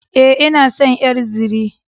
E, ina son ƴar zire.